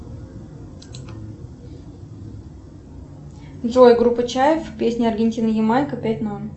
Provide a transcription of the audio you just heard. джой группа чайф песня аргентина ямайка пять ноль